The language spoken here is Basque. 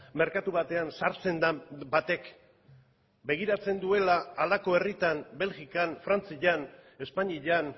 merkatu batean sartzen den batek begiratzen duela halako herritan belgikan frantzian espainian